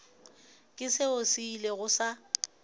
ke seo se ilego sa